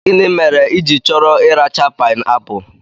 Gịnị mere i chọrọ ị racha pibeapụ?